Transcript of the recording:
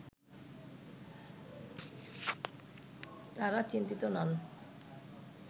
তারা চিন্তিত নন